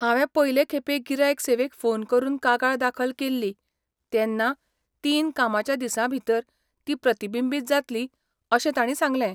हांवें पयले खेपे गिरायक सेवेक फोन करून कागाळ दाखल केल्ली तेन्ना तीन कामाच्या दिसां भितर ती प्रतिबिंबीत जातली अशें तांणी सांगलें.